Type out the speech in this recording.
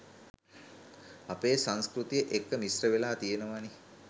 අපේ සංස්කෘතිය එක්ක මිශ්‍රවෙලා තියනවනේ